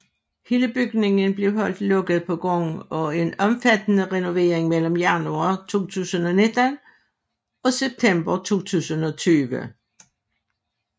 Hele bygningen blev holdt lukket på grund af en omfattende renovering mellem januar 2019 og september 2020